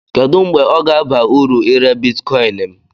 Kedu mgbe ọ ga-aba uru ire Bitikoin m?